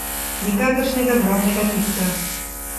Nikakršnega drobnega tiska.